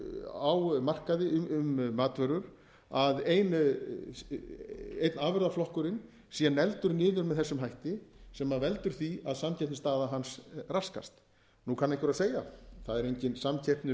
á markaði um matvörur að einn afurðaflokkurinn sé negldur niður með þessum hætti sem veldur því að samkeppnisstaða hans raskast nú kann einhver að segja það er engin samkeppni